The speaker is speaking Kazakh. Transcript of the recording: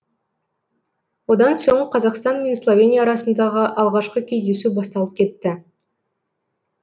одан соң қазақстан мен словения арасындағы алғашқы кездесу басталып кетті